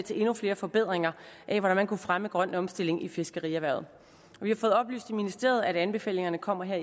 til endnu flere forbedringer af hvordan man kunne fremme grøn omstilling i fiskerierhvervet vi har fået oplyst af ministeriet at anbefalingerne kommer her